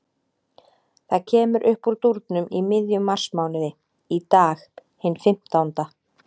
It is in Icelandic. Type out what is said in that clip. Það kemur uppúr dúrnum í miðjum marsmánuði, í dag, hinn fimmtánda.